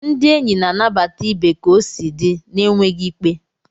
Ndị enyi na-anabata ibe ka o si di, na-enweghị ikpe.